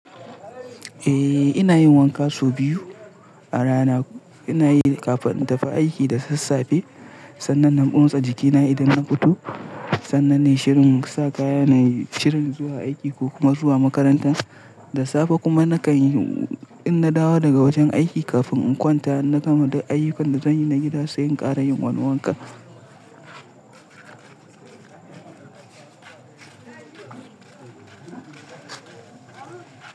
Eh, ina yin wanka sau biyu a rana. Ina yi kafin in tafi aiki da sassafe, sannan na motsa jikina idan na fito, sannan nayi shirin sa kaya na shirin zuwa aiki ko kuma zuwa makaranta. Da safe kuma nakan yi in na dawo daga wajen aiki kafin in kwanta. Na gama da ayyukan da zan yi na gida sai in ƙara yin wani wanka.